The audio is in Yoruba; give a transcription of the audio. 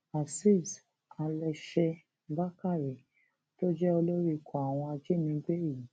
azeez alèṣe bàkàrẹ tó jẹ olórí ikọ àwọn ajínigbé yìí